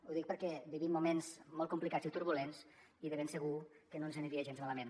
ho dic perquè vivim moments molt complicats i turbulents i de ben segur que no ens aniria gens malament